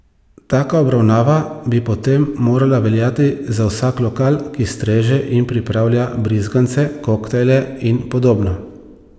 Taka obravnava bi potem morala veljati za vsak lokal, ki streže in pripravlja brizgance, koktajle in podobno.